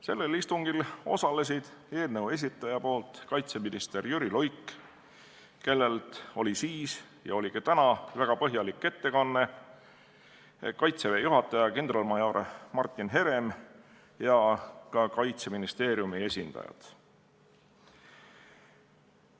Sellel osalesid eelnõu esitaja esindaja kaitseminister Jüri Luik, kelle väga põhjalikku ettekannet kuulsime siis ja ka täna, ning Kaitseväe juhataja kindralmajor Martin Herem ja Kaitseministeeriumi esindajad.